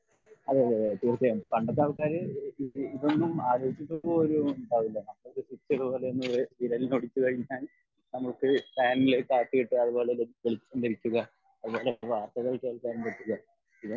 അതെയതെ അതെ തീർച്ചയായും പണ്ടത്തെ ആൾകാർ ഇതൊന്നും ആലോചിച്ചിട്ട് പോലും ഇണ്ടാവില്ല നമ്മളൊക്കെ വിരൽ ഞൊടിച്ച് കഴിഞ്ഞാൽ നമുക്ക് ഫാനിൽ കാറ്റ് കിട്ടെ അതുപോലെ വെളിച്ചം ലഭിക്കുക അതുപോലെ ഇതൊന്നും